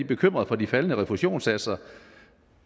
bekymrede for de faldende refusionssatser